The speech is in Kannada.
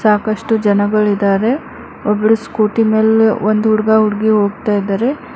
ಸಾಕಷ್ಟು ಜನಗಳಿದರೆ ಒಬ್ರು ಸ್ಕೂಟಿ ಮೇಲೆ ಒಂದು ಹುಡುಗ ಹುಡುಗಿ ಹೋಗ್ತಾ ಇದರೆ.